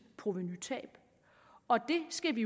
provenutab og det skal vi